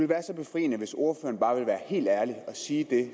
være så befriende hvis ordføreren bare ville være helt ærlig og sige det